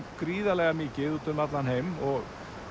gríðarlega mikið út um allan heim og